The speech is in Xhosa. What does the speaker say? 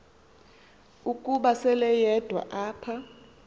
ukuba seleyedwa apho